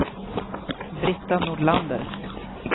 Brita Nordlander